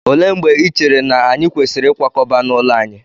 Olee mgbe i chere na anyị kwesịrị ịkwakọba n'ụlọ anyị?